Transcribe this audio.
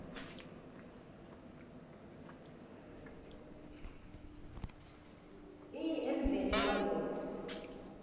e emveni kwalokhu